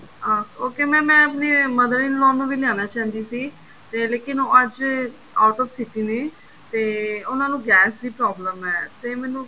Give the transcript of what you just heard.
ਅਹ okay mam ਮੈਂ ਆਪਣੀ mother in law ਨੂੰ ਵੀ ਲਿਆਉਣਾ ਚਾਹੁੰਦੀ ਸੀ ਤੇ ਲੇਕਿਨ ਉਹ ਅੱਜ out of city ਨੇ ਤੇ ਉਹਨਾ ਨੂੰ ਗੈਸ ਦੀ problem ਹੈ ਤੇ ਮੈਨੂੰ